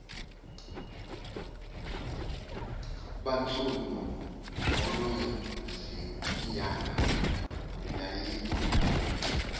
bantsundu ngunonzinyana yayikho